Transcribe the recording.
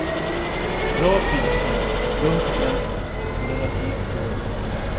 Bra priser, lugnt tempo, och relativt bra utbud.